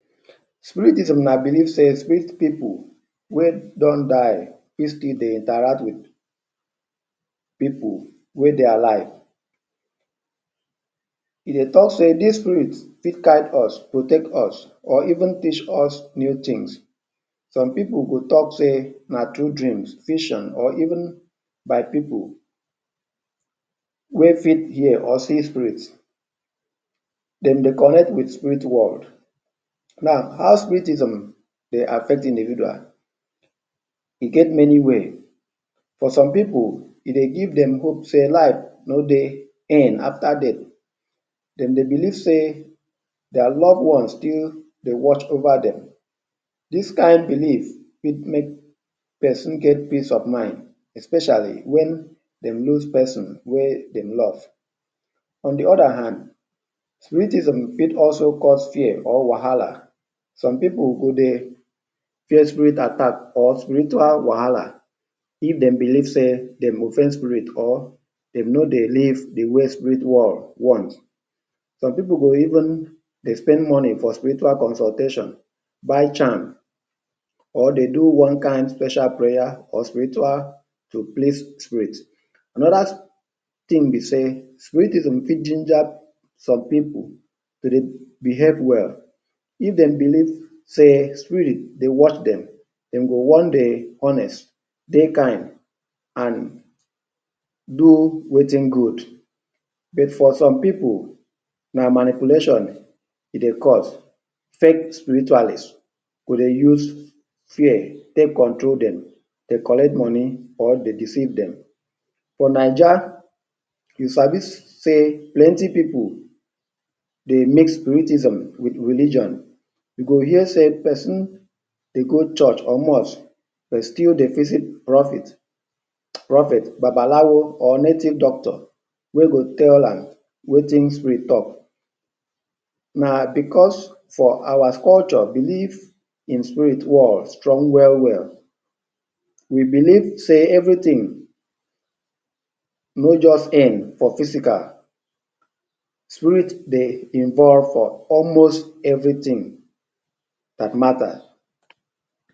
Spiritism na belief sey spirit pipu wey don die still dey interact wit pipu wey dey alive. E dey talk sey dis spirit fit guide us, protect us, or even teach us new tins. Some pipul go talk sey na through dream, vision or even by pipu wey fit hear or see spirit. Dem dey connect wit spirit world. Now, how spiritism affect individual? E get many way, for some pipu e dey give dem hope sey life no dey in after death. Dem dey belief sey dia love ones still dey watch over dem. Dis kind belie fit make pesin get peace of mind especiali wen dem lose pesin wey dem love on the other hand, spiritism fit cause fear or wahala, some pipul go dey fear spirit attack or spiritual wahala if dey belief sey dem go offend spirit or dem no dey live the way spirit world want. Some pipul go even dey spend moni for spiritual consultation, buy charm or dey do one kind special prayer or spiritual to please Spirit. Anoda tin be sey spiritism fit ginger some pipul to dey behave well if dey belief sey spirit dey watch dem, dey go wan dey honest, dey kind and do wetin good but for some pipu, na manipulation e dey cause, fake spiritualist, dey go use fear take control dem dey collect money dey deceive dem. For Naija we sabi sey plenty pipu dey make spiritism with religion, you go hear sey pesin dey go church or mosque but still dey visit propet prophet, babalawo or native doctor wey go tell am wetin spirit talk. Na because for our culture belief in spirit world strong well well. We belief sey every thing no just end for physical, spirit dey involve for almost every tin dat mata